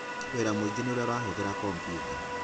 Wĩra mingĩ nĩ ũrĩa ũrahũthĩra komputa.